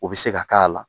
O bɛ se ka k'a la